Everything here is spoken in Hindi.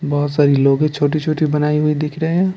बहुत सारी लोगी छोटी-छोटी बनाई हुई दिख रहे हैं।